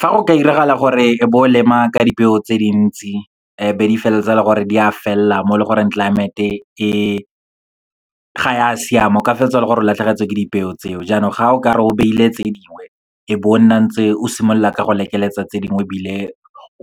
Fa go ka iragala gore bo lema ka dipeo tse dintsi, be di feleletsa le gore di a felela mo e leng gore climate-e e ga ya siama, o ka feleletsa e le gore o latlhegetswe ke dipeo tseo. Jaanong ga o ka re o beile tse dingwe, e be o nna ntse o simolola ka go lekeletsa tse dingwe, ebile